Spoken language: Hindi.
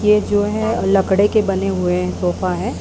ये जो हैं लकड़े के बने हुए सोफा है।